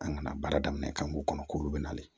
An kana baara daminɛ k'an k'u kɔnɔ k'olu bɛ nali